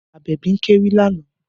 Abebi ń kéwì lánàá